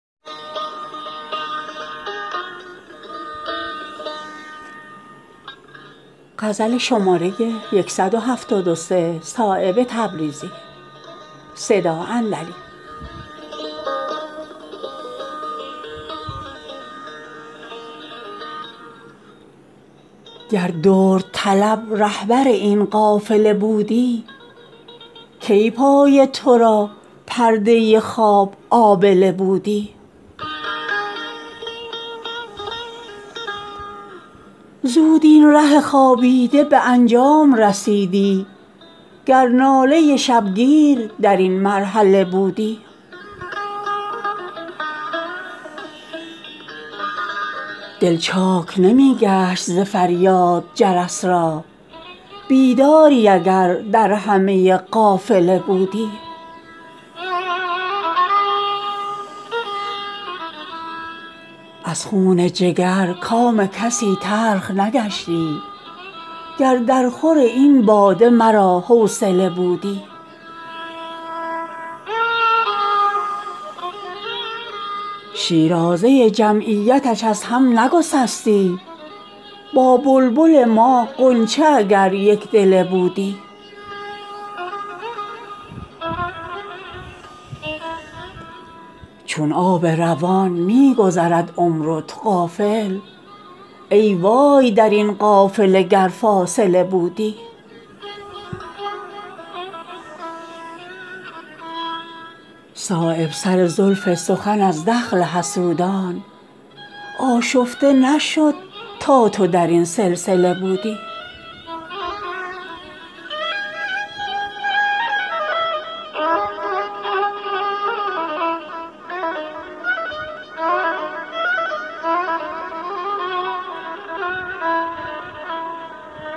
گر درد طلب رهبر این قافله بودی کی پای ترا پرده خواب آبله بودی زود این ره خوابیده به انجام رسیدی گر ناله شبگیر درین مرحله بودی دل چاک نمی گشت ز فریاد جرس را بیداری اگر در همه قافله بودی شوق است درین وادی اگر راحله ای هست در راه نمی ماندی اگر راحله بودی می بود اگر مغز ترا پرده هوشی آسوده ازین عالم پرمشغله بودی از خون جگر کام کسی تلخ نگشتی گر در خور این باده مرا حوصله بودی دریای وجود از تو شدی مخزن گوهر رزق تو اگر از کف پرآبله بودی شیرازه جمعیتش از هم نگسستی با بلبل ما غنچه اگر یکدله بودی چون آب روان می گذرد عمر و تو غافل ای وای درین قافله گر فاصله بودی صایب سر زلف سخن از دخل حسودان آشفته نشد تا تو درین سلسله بودی